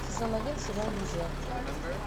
сезон один сериал друзья